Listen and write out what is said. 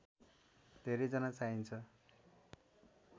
धेरैजना चाहिन्छ